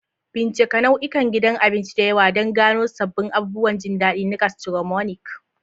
Bincika nau'ikan gidan abinci da yawa don gano sabbin abubuwan jin daɗi na gastronomic.